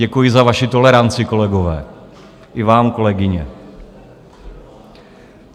Děkuji za vaši toleranci, kolegové, i vám kolegyně.